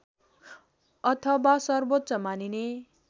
अथवा सर्वोच्च मानिने